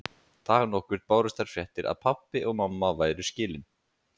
Dag nokkurn bárust þær fréttir að pabbi og mamma væru skilin.